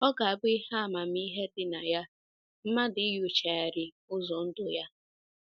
Ọ ga - abụ ihe amamihe dị na ya mmadụ inyochagharị ụzọ ndụ ya.